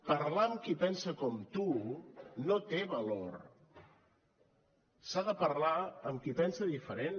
parlar amb qui pensa com tu no té valor s’ha de parlar amb qui pensa diferent